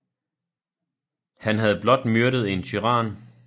Han havde blot myrdet en tyran